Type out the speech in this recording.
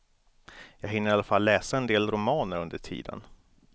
Jag hinner i alla fall läsa en del romaner under tiden.